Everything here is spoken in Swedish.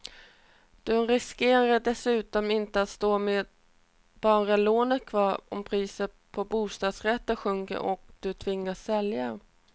Du riskerar dessutom inte att stå med bara lånet kvar om priset på bostadsrätter sjunker och du tvingas sälja.